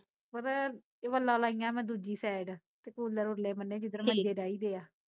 ਪਤਾ, ਏਹ ਵੱਲਾਂ ਲਾਈਆ ਮੈਂ ਦੂਜੀ ਸੇਡ ਤੇ ਕੂਲਰ ਉਰਲੇ ਬੰਨੇ ਜਿੱਧਰ ਮੰਜੇ ਡਾਹੀ ਦੇ ਆ